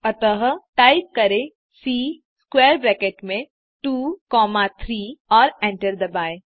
अतः टाइप करें C square bracket में 2 कॉमा 3 और एंटर दबाएँ